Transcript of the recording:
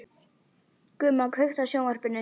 Gumma, kveiktu á sjónvarpinu.